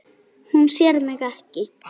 Hún sér mig ekki.